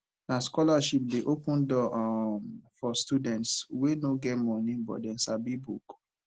na scholarship dey open door um for students wey no get moni but dem sabi book